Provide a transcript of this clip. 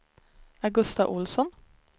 Augusta Ohlsson